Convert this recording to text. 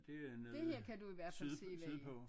Det er noget syd sydpå